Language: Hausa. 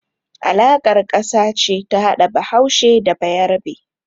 Alaƙar ƙasa ce ta hada Bahaushe da Bayarbe.